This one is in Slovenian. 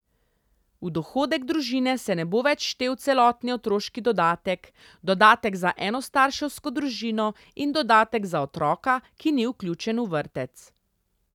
V dohodek družine se ne bo več štel celotni otroški dodatek, dodatek za enostarševsko družino in dodatek za otroka, ki ni vključen v vrtec.